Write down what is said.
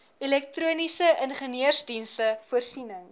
elektroniese ingenieursdienste voorsiening